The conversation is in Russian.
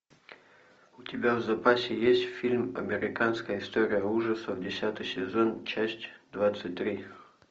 у тебя в запасе есть фильм американская история ужасов десятый сезон часть двадцать три